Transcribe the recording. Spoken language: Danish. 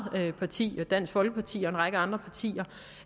parti dansk folkeparti og en række andre partier